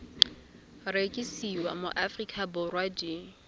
rekisiwa mo aforika borwa di